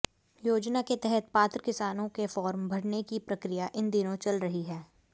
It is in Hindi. योजना के तहत पात्र किसानों के फार्म भरने की प्रक्रिया इन दिनों चल रही है